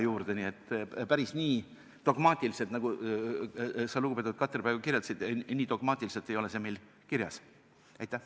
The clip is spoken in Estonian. Päris nii dogmaatiliselt, nagu sa, lugupeetud Katri, praegu kirjeldasid, see meil kirjas ei ole.